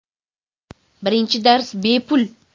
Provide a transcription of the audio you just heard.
Birinchi dars BEPUL!